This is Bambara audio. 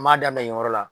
N b'a daminɛ nin yɔrɔ la